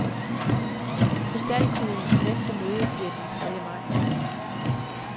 Krystalkuglens næste møde bliver den tredje maj.